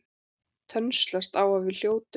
Tönnlast á að við hljótum.